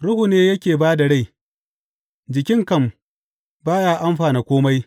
Ruhu ne yake ba da rai; jikin kam, ba ya amfana kome.